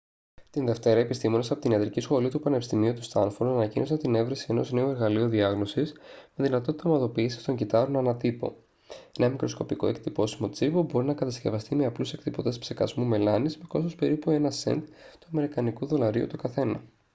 τη δευτέρα επιστήμονες από την ιατρική σχολή του πανεπιστημίου του στάνφορντ ανακοίνωσαν την εφεύρεση ενός νέου εργαλείου διάγνωσης με δυνατότητα ομαδοποίησης των κυττάρων ανά τύπο ένα μικροσκοπικό εκτυπώσιμο τσιπ που μπορεί να κατασκευαστεί με απλούς εκτυπωτές ψεκασμού μελάνης με κόστος περίπου ένα σεντ του αμερικανικού δολαρίου το καθένα